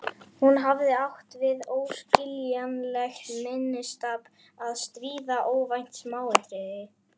Hún hafði átt við óskiljanlegt minnistap að stríða: óvænt smáatriði.